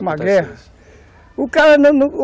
Uma guerra o cara